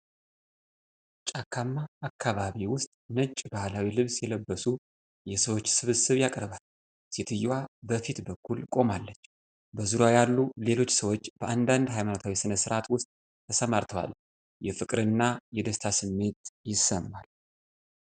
ጫካማ አካባቢ ውስጥ ነጭ ባህላዊ ልብስ የለበሱ የሰዎች ስብስብ ያቀርባል። ሴትዮዋ በፊት በኩል ቆማለች፤ በዙሪያዋ ያሉ ሌሎች ሰዎች በአንዳንድ ሃይማኖታዊ ሥነ ሥርዓት ውስጥ ተሰማርተዋል። የፍቅርና የደስታ ስሜት ይሰማል።